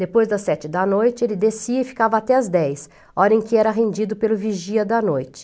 Depois das sete da noite, ele descia e ficava até as dez, hora em que era rendido pelo vigia da noite.